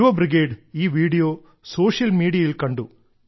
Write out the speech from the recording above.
യുവ ബ്രിഗേഡ് ഈ video social മീഡിയയിൽ കണ്ടു